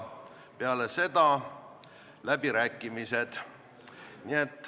Peale seda algavad läbirääkimised.